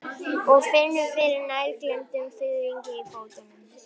Og finnur fyrir nær gleymdum fiðringi í fótum.